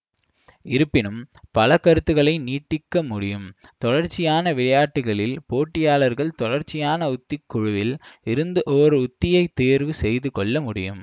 இருப்பினும் பல கருத்துகளை நீட்டிக்க முடியும் தொடர்ச்சியான விளையாட்டுகளில் போட்டியாளர்கள் தொடர்ச்சியான உத்திக் குழுவில் இருந்து ஓர் உத்தியைத் தேர்வு செய்துகொள்ள முடியும்